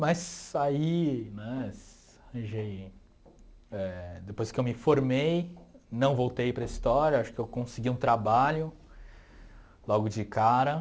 Mas aí, né, arranjei éh depois que eu me formei, não voltei para a história, acho que eu consegui um trabalho logo de cara.